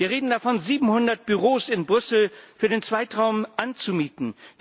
Wir reden davon, 700 Büros in Brüssel für den Zeitraum anzumieten.